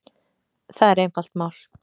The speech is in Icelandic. Það er einfalt mál